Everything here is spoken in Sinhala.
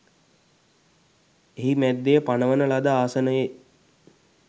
එහි මැද්දෙ පනවන ලද ආසනයෙ